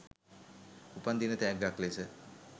උපන් දින තෑග්ගක් ලෙස